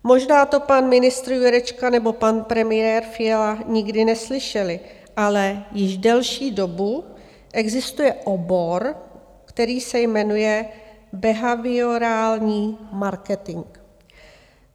Možná to pan ministr Jurečka nebo pan premiér Fiala nikdy neslyšeli, ale již delší dobu existuje obor, který se jmenuje behaviorální marketing.